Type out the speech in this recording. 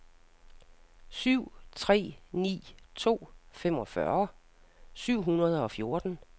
syv tre ni to femogfyrre syv hundrede og fjorten